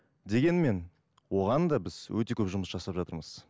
дегенмен оған да біз өте көп жұмыс жасап жатырмыз